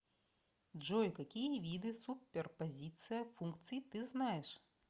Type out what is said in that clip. джой какие виды суперпозиция функций ты знаешь